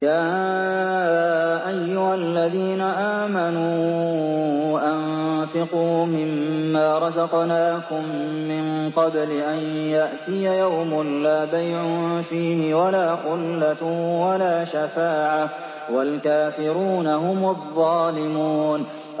يَا أَيُّهَا الَّذِينَ آمَنُوا أَنفِقُوا مِمَّا رَزَقْنَاكُم مِّن قَبْلِ أَن يَأْتِيَ يَوْمٌ لَّا بَيْعٌ فِيهِ وَلَا خُلَّةٌ وَلَا شَفَاعَةٌ ۗ وَالْكَافِرُونَ هُمُ الظَّالِمُونَ